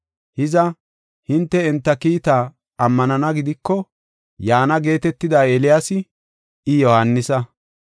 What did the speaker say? Hiza, hinte enta kiitaa ammanana gidiko, yaana geetetida Eeliyaasi, I Yohaanisa.